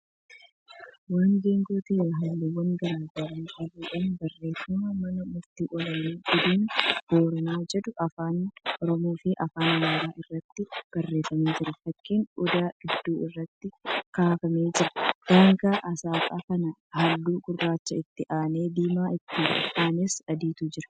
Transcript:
Waan geengoo ta'ee halluuwwan garagaraa qabuudha. Barreeffama "mana murtii ol'aanaa godina booranaa" jedhu afaan Oromoofi afaan Amaaraatiin irraatti barreeffameef jira. Fakkii Odaa gidduu irratti kaafamee jira. Daangaan aasxaa kanaa halluu gurraacha, itti aanee diimaafi itti aanes adiitu jira.